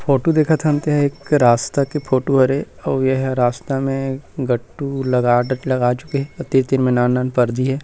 Photo देखत हन ते ह एक रास्ता के फोटो हरे अउ ए ह रास्ता में गट्टू लगा चुके हे अउ तीर- तीर मे नान नान पर्दी हे।